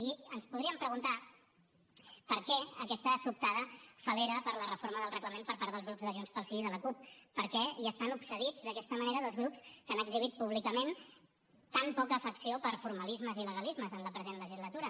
i ens podríem preguntar per què aquesta sobtada fal·lera per la reforma del reglament per part dels grups de junts pel sí i de la cup per què hi estan obsedits d’aquesta manera dos grups que han exhibit públicament tan poca afecció per formalismes i legalismes en la present legislatura